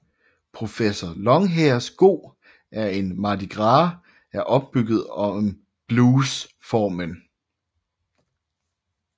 Professor Longhairs Go to the Mardi Gras er bygget op om bluesformen